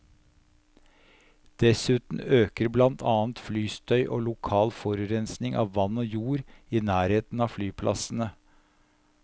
Dessuten øker blant annet flystøy og lokal forurensning av vann og jord i nærheten av flyplassene.